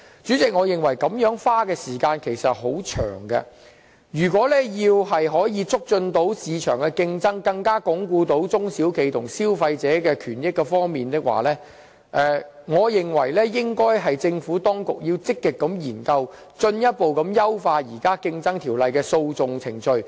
主席，我認為這樣太費時，如要促進市場的競爭力，並鞏固中小企業和消費者的權益，我認為政府當局應該積極研究，進一步優化《競爭條例》的訴訟程序。